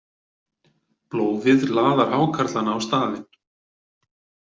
Blóðið laðar hákarlana á staðinn.